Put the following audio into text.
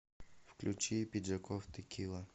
включи пиджаков текила